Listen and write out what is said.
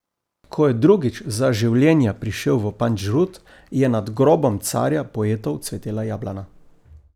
Ko je drugič za življenja prišel v Pandžrud, je nad grobom carja poetov cvetela jablana.